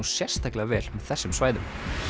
sérstaklega vel með þessum svæðum